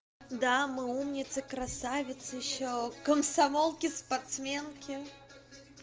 да мы умницы красавицы ещё комсомолки спортсменки